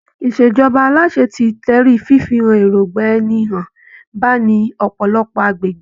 ìṣèjọba aláṣẹ ti tẹrí fífi èròngbà ẹni hàn ba ní ọ̀pọ̀lọpọ̀ agbègbè.